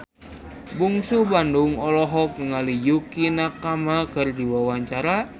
Bungsu Bandung olohok ningali Yukie Nakama keur diwawancara